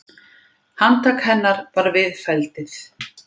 Handtak hennar var viðfelldið.